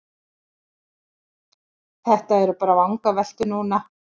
Þetta eru bara vangaveltur núna.